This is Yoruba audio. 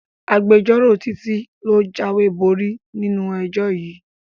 Agbẹjọ́rò Títí ló jáwéborí nínú ẹjọ́ yìí